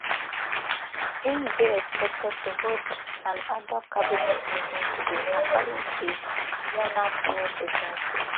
im dey expected to hold an ad hoc cabinet meeting today according to yonhap news agency